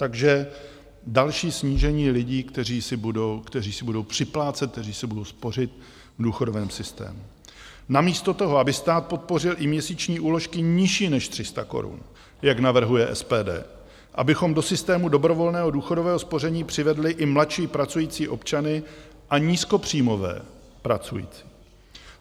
Takže další snížení lidí, kteří si budou připlácet, kteří si budou spořit v důchodovém systému namísto toho, aby stát podpořil i měsíční úložky nižší než 300 korun, jak navrhuje SPD, abychom do systému dobrovolného důchodového spoření přivedli i mladší pracující občany a nízkopříjmové pracující.